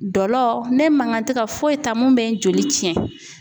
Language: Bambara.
Dɔ la, ne man kan tɛ ka foyi ta mun bɛ n joli tiɲɛ.